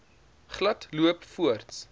glad loop voorts